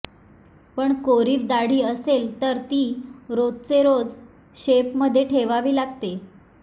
पण कोरिव दाढी असेल तर ती रोजचे रोज शेपमध्ये ठेवावी लागते